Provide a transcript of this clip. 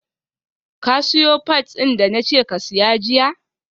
ka siyo pads din da na ce ka saya jiya?